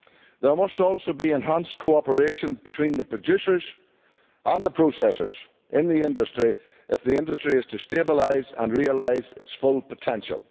There must also be enhanced cooperation between the producers and the processors in the industry if the industry is to stabilise and realise its full potential.